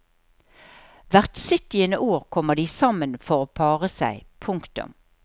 Hvert syttiende år kommer de sammen for å pare seg. punktum